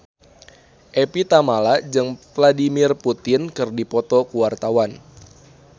Evie Tamala jeung Vladimir Putin keur dipoto ku wartawan